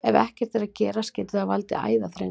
Ef ekkert er að gert getur það valdið æðaþrengslum.